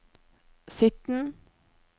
sytten